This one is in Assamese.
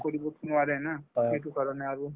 কৰিবটো নোৱাৰো না সেইটো কাৰণে আৰু